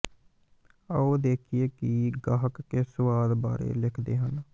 ਆਓ ਦੇਖੀਏ ਕਿ ਗਾਹਕ ਕਿਸ ਸੁਆਦ ਬਾਰੇ ਲਿਖਦੇ ਹਨ